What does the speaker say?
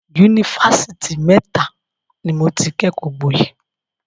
Yunifásitì mẹ́ta ni mo ti kẹ́kọ̀ọ́ gboyè.